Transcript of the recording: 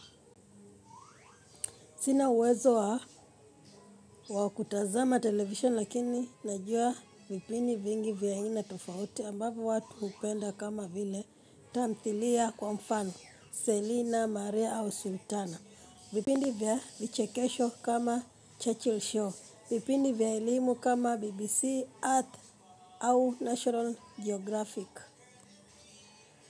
Sina uwezo wa wa kutazama television lakini najua vipindi vingi vya aina tofauti ambavyo watu hupenda kama vile tamthilia kwa mfano, Selina, Maria au Sultana. Vipindi vya vichekesho kama Churchill show. Vipindi vya elimu kama BBC, Earth au National Geographic.